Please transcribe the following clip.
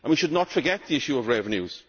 We should not forget the issue of revenues.